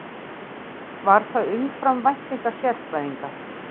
Var það umfram væntingar sérfræðinga